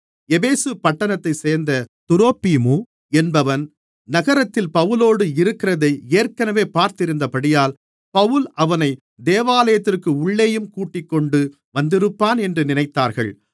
எபேசு பட்டணத்தைச் சேர்ந்த துரோப்பீமு என்பவன் நகரத்தில் பவுலோடு இருக்கிறதை ஏற்கனவே பார்த்திருந்தபடியால் பவுல் அவனைத் தேவாலயத்திற்கு உள்ளேயும் கூட்டிக்கொண்டு வந்திருப்பான் என்று நினைத்தார்கள்